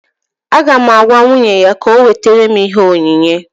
Aga m agwa nwunye ya ka ọ wetara m ihe onyinye